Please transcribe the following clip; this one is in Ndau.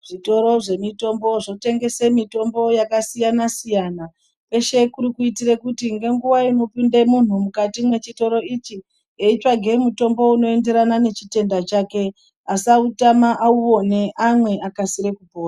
Zvitoro zvemitombo zvotengesa mitombo yakasiyana siyana. Peshe kuti kuitira kuti ngenguwa inopinde muntu muchitoro ichi eitsvage mutombo unoenderana nechitenda chake asautama auone amwe akasire kupona.